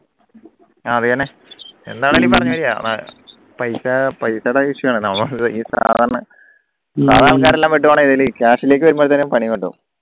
ആഹ് അത് തന്നെ പൈസ പൈസടെ വിഷയണ് സാധാ ആൾക്കാരെല്ലാം പോയിട്ട് ഇതില് കാശിലേക്ക് വരുമ്പോക്കും പണി പറ്റും